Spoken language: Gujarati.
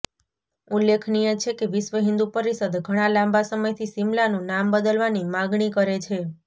ઉલ્લેખનીય છે કે વિશ્વ હિન્દુ પરિષદ ઘણા લાંબા સમયથી શિમલાનું નામ બદલવાની માગણી કરે છે